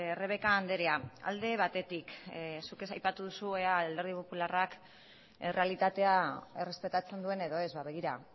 rebeka andrea alde batetik zuek aipatu duzue ea alderdi popularrak errealitatea errespetatzen duen edo ez begira